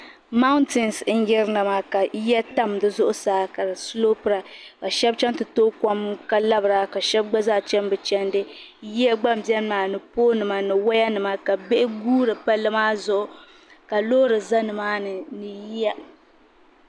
Mayinin ka shaba niŋda ka doo so niŋ bizi pam ka gba tankpaɣu maa zuɣu ka o niɛma maa daɣi ka so gba zaa gbubi shoovili ka yɛn tooyi tankpaɣu ka so za nyaanga maa ka yɛ ɔrɛɛnje ka tabi o shee ka yuunda ka so mi gba zaa kpaari bini pari doo maa zuɣu.